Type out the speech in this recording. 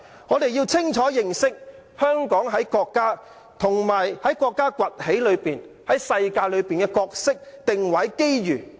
我們要清楚認識香港在國家，以至在國家在世界上崛起的過程中的角色、定位和機遇。